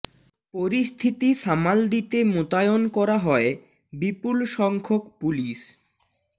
পরিস্থিতি সামাল দিতে মোতায়ন করা হয় বিপুল সংখ্যক পুলিশ